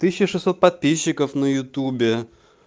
тысяча шесть сот подписчиков на ютубе